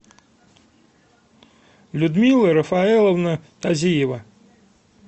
людмила рафаэловна тазиева